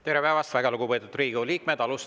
Tere päevast, väga lugupeetud Riigikogu liikmed!